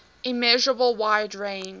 immeasurable wide range